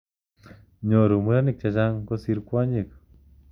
Nyoru murenik che chang kosir kwonyik.